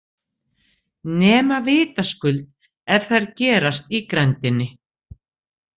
Nema vitaskuld ef þær gerast í grenndinni.